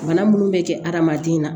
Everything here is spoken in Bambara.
Bana munnu bɛ kɛ hadamaden na